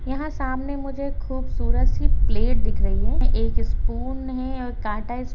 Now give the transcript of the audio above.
यहाँ सामने मुझे खूबसूरत सी प्लेट दिख रही है एक स्पून है और काटा --